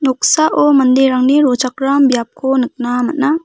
manderangni rochakram biapko nikna man·a.